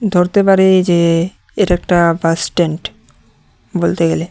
ধরতে পারে এই যে এর একটা বাস স্ট্যান্ড বলতে গেলে।